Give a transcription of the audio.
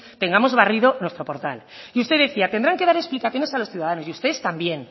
tengamos barrido nuestro portal y usted decía tendrán que dar explicaciones a los ciudadanos y ustedes también